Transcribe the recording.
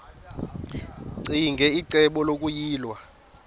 ccinge icebo lokuyilwa